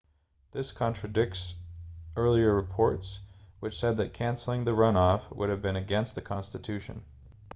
this contradicts earlier reports which said that cancelling the runoff would have been against the constitution